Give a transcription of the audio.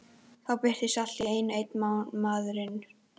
Þá birtist allt í einu enn einn maðurinn.